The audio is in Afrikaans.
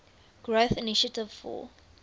growth initiative for